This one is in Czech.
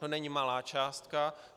To není malá částka.